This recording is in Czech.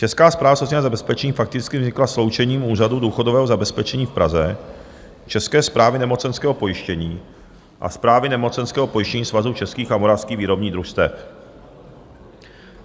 Česká správa sociálního zabezpečení fakticky vznikla sloučením Úřadu důchodového zabezpečení v Praze, České správy nemocenského pojištění a Správy nemocenského pojištění Svazu českých a moravských výrobních družstev.